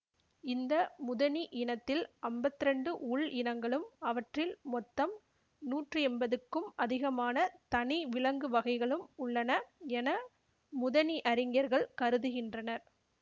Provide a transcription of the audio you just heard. இந்த முதனி இனத்தில் அம்பத்தி இரண்டு உள் இனங்களும் அவற்றில் மொத்தம் நூற்றி எம்பதுக்கும் அதிகமான தனி விலங்கு வகைகளும் உள்ளன என முதனியறிஞர்கள் கருதுகின்றனர்